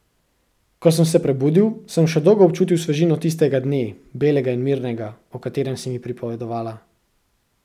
Ko sem se prebudil, sem še dolgo občutil svežino tistega dne, belega in mirnega, o katerem si mi pripovedovala.